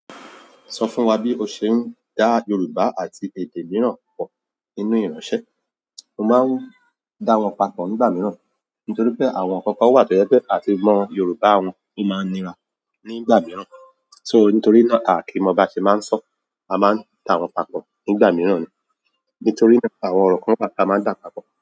Sọ fún wa bí o ṣe ń dá Yorùbá àti èdè mìíràn pọ̀ nínú ìránṣẹ́. Mo máa ń dá wọn papọ̀ nígbà mìíràn, nítorí pé àwọn ọkọ̀ ǹkan wà tó jẹ́ pé àti mọ Yorùbá wọn ó máa ń nira nígbà mìíràn. So nítorí náà kí ń mọ bá ṣe máa ń sọ, a máa ń dá wọn papọ̀ nígbà mìíràn ni. Nítorí náà àwọn ọ̀rọ̀ kan ni a máa ń dà papọ̀